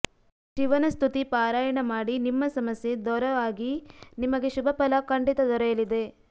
ಶಿವನ ಸ್ತುತಿ ಪಾರಾಯಣ ಮಾಡಿ ನಿಮ್ಮ ಸಮಸ್ಯೆ ದೊರ ಆಗಿ ನಿಮಗೆ ಶುಭ ಫಲ ಖಂಡಿತ ದೊರೆಯಲಿದೆ